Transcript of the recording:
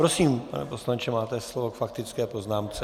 Prosím, pane poslanče, máte slovo k faktické poznámce.